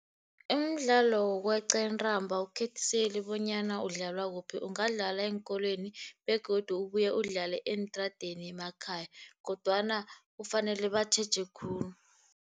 Umdlalo wokweqa intambo awukhethiseli bonyana udlalwa kuphi. Ungadlalwa eenkolweni, begodu ubuye udlale eentradeni emakhaya kodwana kufanele batjheje khulu.